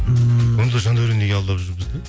ммм онда жандаурен неге алдап жүр бізді